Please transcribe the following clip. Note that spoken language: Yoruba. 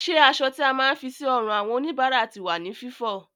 Ṣé aṣọ tí a máa ń fi sí ọrùn àwọn òníbára ti wà ní Fífọ?